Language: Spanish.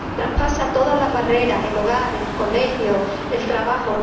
Traspasa todas las barreras el hogar, el colegio, el trabajo.